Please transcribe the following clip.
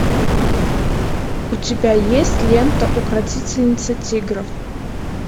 у тебя есть лента укротительница тигров